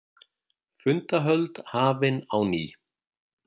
Fundahöld hafin á ný